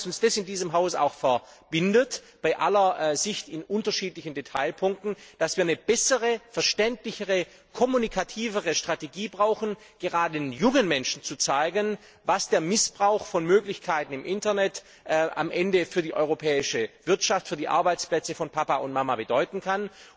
Ich glaube, dass uns in diesem Haus bei allen unterschiedlichen Ansichten im Detail die Auffassung verbindet, dass wir eine bessere, verständlichere, kommunikativere Strategie brauchen, um gerade den jungen Menschen zu zeigen, was der Missbrauch von Möglichkeiten im Internet am Ende für die europäische Wirtschaft, für die Arbeitsplätze von Papa und Mama bedeuten kann.